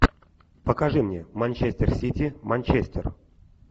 покажи мне манчестер сити манчестер